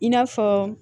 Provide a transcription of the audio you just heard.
I n'a fɔ